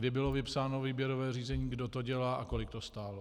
Kdy bylo vypsáno výběrové řízení, kdo to dělá a kolik to stálo?